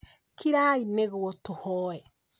Kirai nĩguo tũhoe